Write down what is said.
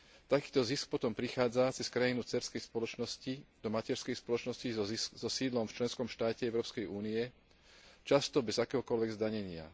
Takýto zisk potom prichádza cez krajinu dcérskej spoločnosti do materskej spoločnosti so sídlom v členskom štáte Európskej únie, často bez akéhokoľvek zdanenia.